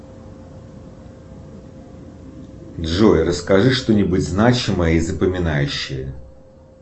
джой расскажи что нибудь значимое и запоминающее